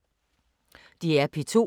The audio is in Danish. DR P2